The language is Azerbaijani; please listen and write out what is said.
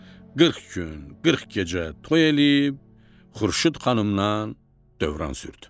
Qırx gün, qırx gecə toy eləyib Xurşud xanımla dövran sürdü.